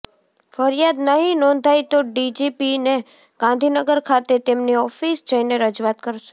ફરિયાદ નહીં નોંધાય તો ડીજીપીને ગાંધીનગર ખાતે તેમની ઓફિસ જઈને રજૂઆત કરશે